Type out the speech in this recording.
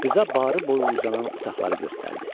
Qıza barı boyu uzanan otaqları göstərdi.